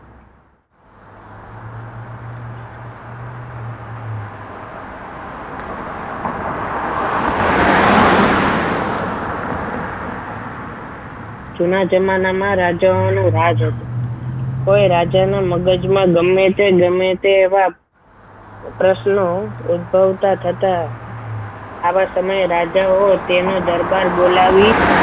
જુના જમાનાઓમાં રાજાઓ રાજ હતું કોઈ રાજાના મગજમાં ગમે તે ગમે તે વાત પ્રશ્નો ઉદ્ભવતા થતા આવા સમયે રાજાઓ તેના દરબાર બોલાવી